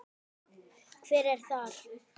Hver er þar?